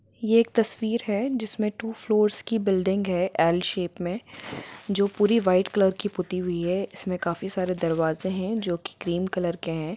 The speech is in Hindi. ये एक तस्वीर है जिसमे टू फ्लोर्स की बिल्डिंग है एल शेप मे जो पुरी वाइट कलर की पुति हुई है इसमें काफी सारे दरवाजे है जो की क्रीम कलर के है।